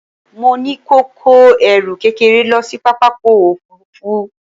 Mo ní kí ó kó ẹrù kékeré lọ sí pápákọ̀ òfuurufú